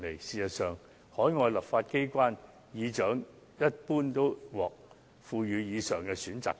事實上，海外立法機關議長一般都獲賦予上述選擇權。